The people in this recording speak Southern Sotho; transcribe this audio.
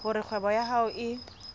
hore kgwebo ya hao e